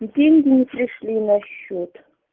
и деньги не пришли на счёт